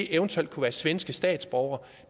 eventuelt kunne være svenske statsborgere